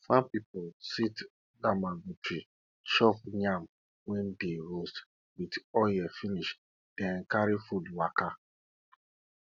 farm pipo sit under mango tree chop yam wey dey roast with oil finish then carry food waka